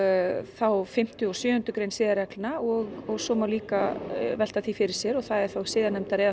þá fimmtu og sjöundu grein siðareglna og svo má líka velta því fyrir sér það er þá siðanefndar eða